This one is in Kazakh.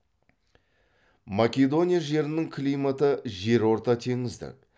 македония жерінің климаты жерортатеңіздік